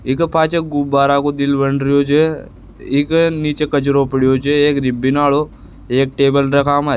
इ के पाछे गुब्बारा को दिल बन रो छे इ के निचे कचरो पड़ो छे एक रिबिन आरो एक टेबल --